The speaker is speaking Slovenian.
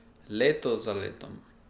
Leto za letom...